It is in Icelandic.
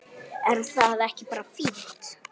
Er það ekki bara fínt?